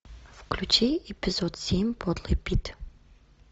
включи эпизод семь подлый пит